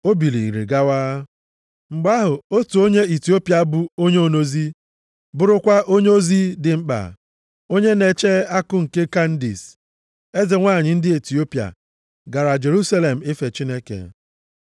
O biliri gawa. Mgbe ahụ, otu onye Itiopia bụ onye onozi, bụrụkwa onyeisi ozi dị mkpa, onye na-eche akụ nke Kandis, eze nwanyị ndị Itiopia, gara Jerusalem ife Chineke.